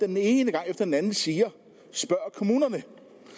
den ene gang efter den anden siger spørg kommunerne